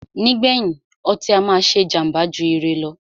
Nígbèyìn, ọtí á máà ṣé jàmbá jù ire lọ.